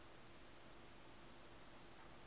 neute tee blomme